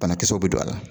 Banakisɛw bɛ don a la